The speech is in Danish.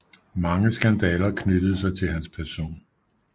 Mange skandaler knyttede sig til hans person